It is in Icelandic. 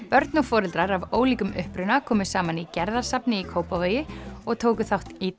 börn og foreldrar af ólíkum uppruna komu saman í Gerðarsafni í Kópavogi og tóku þátt í